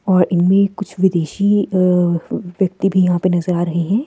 और इनमें कुछ विदेशी अ व्यक्ति भी यहाँ पे नजर आ रहे हैं।